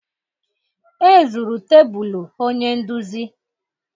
E zuru tebụlụ onye nduzi